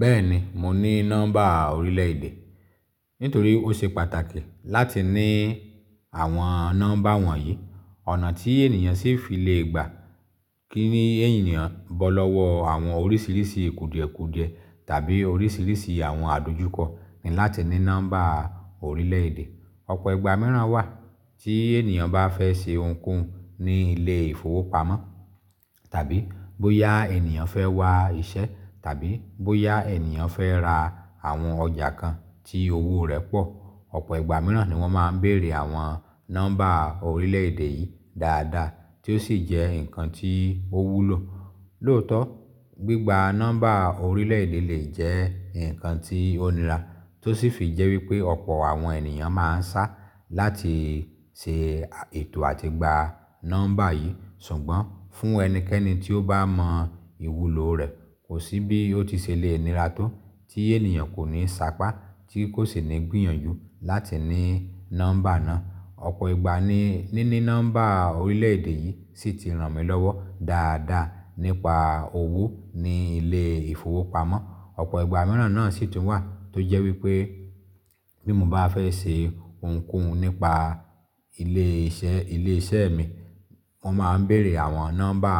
Bẹ́ẹ̀ni, mo ní nọ́mbà orílẹ̀-èdè. Nítorí ó ṣe pàtàkì láti ní àwọn nọ́mbà wọ̀nyí. Ọ̀nà tí ènìyàn sì fi lè gbà kíni ènìyàn bọ́ lọ́wọ́ àwọn oríṣiríṣi kuudie kuudie tàbí oríṣiríṣi àwọn àdójúkọ ni láti ní nọ́mbà orílẹ̀-èdè. Ọ̀pọ̀ ìgbà mìíràn wà tí ènìyàn bá fẹ́ ṣe ounkóhun ní ilé ìfowópamọ́ tàbí bóyá ènìyàn fẹ́ wá iṣẹ́ tàbí bóyá ènìyàn fẹ́ ra àwọn ọjà kan tí owó rẹ̀ pọ̀. Ọ̀pọ̀ ìgbà mìíràn ni wọ́n máa ń bèèrè àwọn nọ́mbà orílẹ̀-èdè yìí dáadáa tí ó sì jẹ́ nǹkan tí ó wúlò. Lóòótọ́, gbígba nọ́mbà orílẹ̀-èdè lè jẹ́ nǹkan tí ó nira tó sì fi jẹ́ wípé ọ̀pọ̀ àwọn ènìyàn máa ń sá láti ṣe ètò àti gba nọ́mbà yìí. Ṣùgbọ́n fún ẹnikẹ́ni tí ó bá mọ ìwúlò rẹ̀, kò sí bí ó ti ṣe le nira tó tí ènìyàn kò ní ṣàpá tí kò sì ní gbìyànjú láti ní nọ́mbà náà. Ọ̀pọ̀ ìgbà ni níní nọ́mbà orílẹ̀-èdè yìí sì ti ràn mí lọ́wọ́ dáadáa nípa owó ní ilé ìfowópamọ́. Ọ̀pọ̀ ìgbà mìíràn náà sì tún wà tó jẹ́ wípé bí mo bá fẹ́ ṣe ounkóhun nípa ilé iṣẹ́, ilé iṣẹ́ mi, wọ́n máa ń bèèrè àwọn nọ́mbà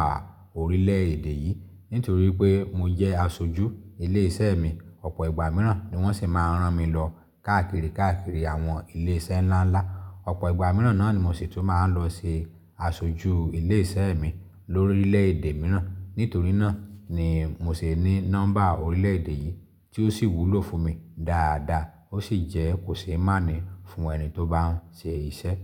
orílẹ̀-èdè yìí nítorí pé mo jẹ́ aṣojú ilé iṣẹ́ mi. Ọ̀pọ̀ ìgbà mìíràn ni wọ́n sì máa ń rán mi lọ káàkiri, káàkiri àwọn ilé iṣẹ́ ńlá ńlá. Ọ̀pọ̀ ìgbà mìíràn náà ni mo sì tún máa ń lọ ṣe aṣojú ilé iṣẹ́ mi lórí lẹ̀èdè mìíràn. Nítorí náà ni mo se ní nọ́mbà orílẹ̀-èdè yìí tí ó sì wúlò fún mi dáadáa ó sì jẹ́ kò ṣe é má ní fún ẹni tí ó bá ń ṣe iṣẹ́.